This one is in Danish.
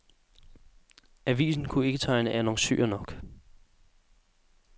Avisen kunne ikke tegne annoncører nok.